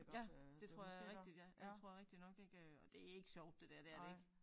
Ja det tror jeg er rigtigt ja det tror er rigtigt nok ik øh og det ikke sjovt det der. Det er det ikke